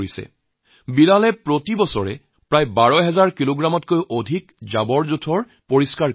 আনুমানিক হিচাপত বিলালে প্ৰতি বছৰে ১২ হাজাৰ কিলোগ্ৰামতকৈও অধিক আৱৰ্জনা পৰিষ্কাৰ কৰে